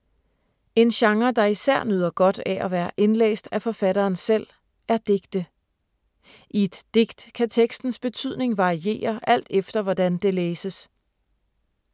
En genre, der især nyder godt af at være indlæst af forfatteren selv er digte. I et digt kan tekstens betydning variere alt efter, hvordan det læses.